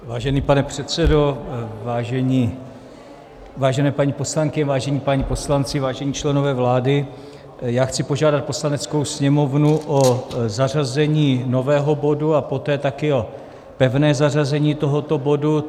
Vážený pane předsedo, vážené paní poslankyně, vážení páni poslanci, vážení členové vlády, já chci požádat Poslaneckou sněmovnu o zařazení nového bodu a poté taky o pevné zařazení tohoto bodu.